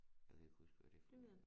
Jeg kan ikke huske hvad det hedder